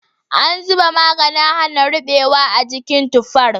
An zuba maganin hana rubewa a jikin tufar.